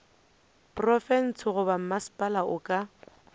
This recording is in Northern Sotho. profense goba mmasepala o ka